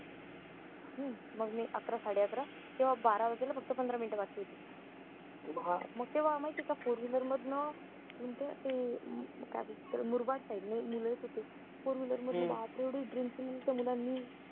हम्म मग मी अकरा साडे अकरा किंवा बारा वाजयला फक्त पंधरा मिनटं बाकी होती मग तेव्हा मैत्री च्या four wheeler मधनं कोणतं ते काय बोलतात हम्म मुरबाड side ने मुलं येत होती four wheeler मधे बापरे एवढी drink केली होती त्या मुलांनी